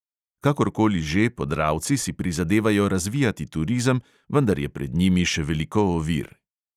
Kakorkoli že, podravci si prizadevajo razvijati turizem, vendar je pred njimi še veliko ovir.